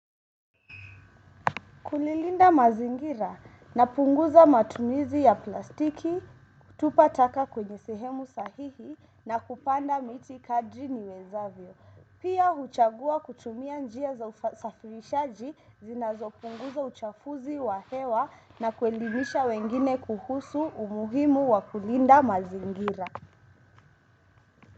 Kulilinda mazingira na punguza matumizi ya plastiki, tupa taka kwenye sehemu sahihi na kupanda miti kadri wezavyo. Pia huchagua kutumia njia za usafirishaji zinazo punguza uchafuzi wa hewa na kuelimisha wengine kuhusu umuhimu wa kulinda mazingira.